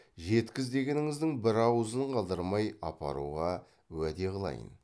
жеткіз дегеніңіздің бір ауызын қалдырмай апаруға уәде қылайын